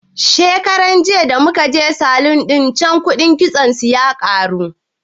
Shekaran jiya da muka je salun ɗin can kuɗin kitson su ya karu